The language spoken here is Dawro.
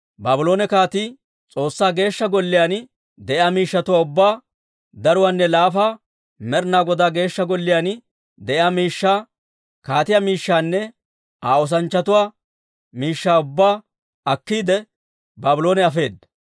Baabloone kaatii S'oossaa Geeshsha Golliyaan de'iyaa miishshatuwaa ubbaa, daruwaanne laafa, Med'inaa Godaa Geeshsha Golliyaan de'iyaa miishshaa, kaatiyaa miishshanne Aa oosanchchatuu miishshaa ubbaa akkiide, Baabloone afeedda.